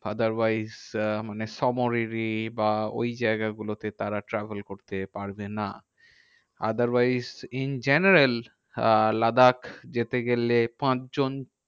Otherwise আহ মানে সোমরাররি বা ওই জায়গাগুলোতে তারা travel করতে পারবে না। otherwise in general আহ লাদাখ যেতে গেলে পাঁচজন